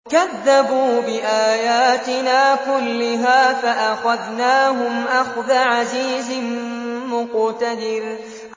كَذَّبُوا بِآيَاتِنَا كُلِّهَا فَأَخَذْنَاهُمْ أَخْذَ عَزِيزٍ مُّقْتَدِرٍ